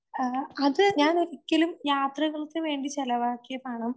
ആഹ് അത് ഞാനൊരിക്കലും